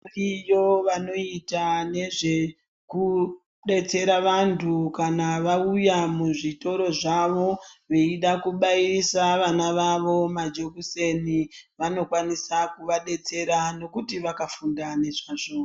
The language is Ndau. Iyo vanoita nezve kubatsira vantu kana vauya mu zvitoro zvavo veida kubairisa vana vavo majokuseni vano kwanisa kuva detsera nekuti vaka funda nezvazvo.